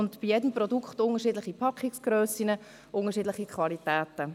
Von jedem Produkt gibt es unterschiedliche Packungsgrössen und unterschiedliche Qualitäten.